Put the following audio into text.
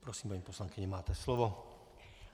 Prosím, paní poslankyně, máte slovo.